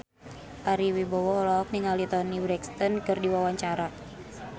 Ari Wibowo olohok ningali Toni Brexton keur diwawancara